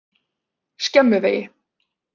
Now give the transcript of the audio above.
Skemmuvegi